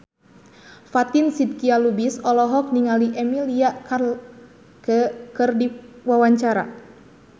Fatin Shidqia Lubis olohok ningali Emilia Clarke keur diwawancara